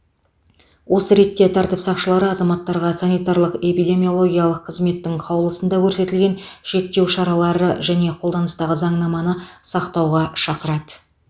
осы ретте тәртіп сақшылары азаматтарға санитарлық эпидемиологиялық қызметтің қаулысында көрсетілген шектеу шаралары және қолданыстағы заңнаманы сақтауға шақырады